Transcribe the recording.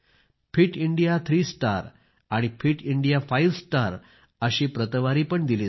fit India three star आणि fit India five star अशी ratings पण दिली जाईल